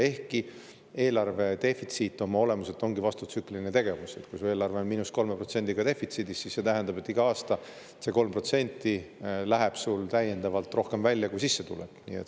Ehkki eelarve defitsiit oma olemuselt ongi vastutsükliline tegevus, sest kui su eelarve on –3%‑ga defitsiidis, siis see tähendab, et iga aasta läheb eelarvest 3% rohkem välja, kui sisse tuleb.